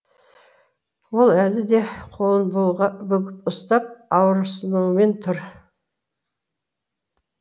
ол әлі де қолын бүгіп ұстап ауырысынумен тұр